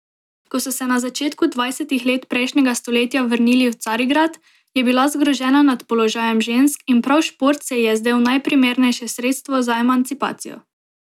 Ko so se v začetku dvajsetih let prejšnjega stoletja vrnili v Carigrad, je bila zgrožena nad položajem žensk in prav šport se ji je zdel najprimernejše sredstvo za emancipacijo.